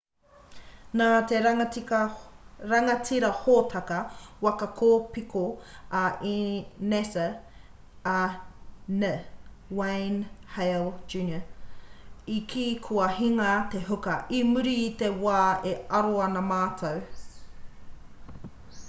nā te rangatira hōtaka waka kōpiko a nasa a n wayne hale jr i kī kua hinga te huka i muri i te wā e aro ana mātou